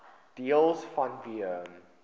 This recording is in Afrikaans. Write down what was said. deels vanweë